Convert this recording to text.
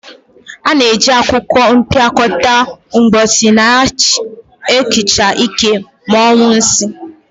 A na-eji akwụkwọ mpịakọta mposi na-ehicha ike ma nyuo nsii.